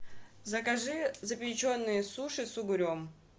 закажи запеченные суши с угрем